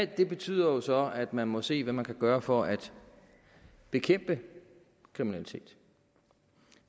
det betyder jo så at man må se hvad man kan gøre for at bekæmpe kriminalitet